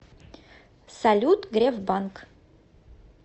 салют греф банк